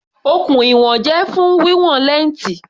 Okùn ìwọ̀n jẹ́ fún wíwọn lẹ́ǹtì.